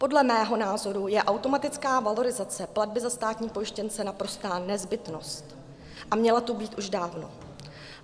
Podle mého názoru je automatická valorizace platby za státní pojištěnce naprostá nezbytnost a mělo to být už dávno.